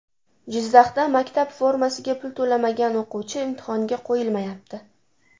Jizzaxda maktab formasiga pul to‘lamagan o‘quvchi imtihonga qo‘yilmayapti.